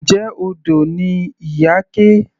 Njẹ́ odò ni Iyake.